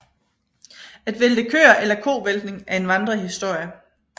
At vælte køer eller kovæltning er en vandrehistorie